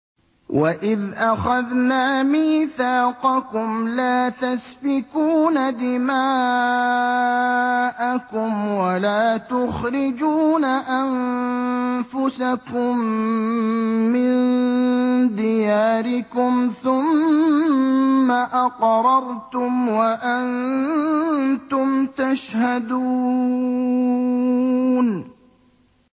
وَإِذْ أَخَذْنَا مِيثَاقَكُمْ لَا تَسْفِكُونَ دِمَاءَكُمْ وَلَا تُخْرِجُونَ أَنفُسَكُم مِّن دِيَارِكُمْ ثُمَّ أَقْرَرْتُمْ وَأَنتُمْ تَشْهَدُونَ